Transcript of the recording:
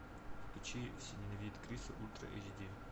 включи все ненавидят криса ультра эйч ди